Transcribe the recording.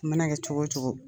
A mana kɛ cogo o cogo.